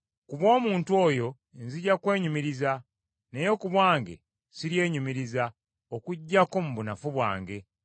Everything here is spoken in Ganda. Ku bw’omuntu oyo nzija kwenyumiriza naye ku bwange siryenyumiriza, okuggyako mu bunafu bwange.